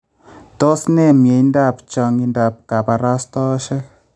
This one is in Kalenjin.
Toos ne myendab chang�intaab kabarastaoshek?